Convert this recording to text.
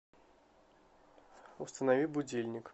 установи будильник